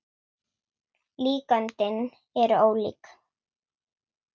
Líkönin eru ólík.